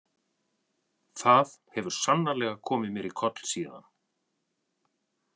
Það hefur sannarlega komið mér í koll síðan.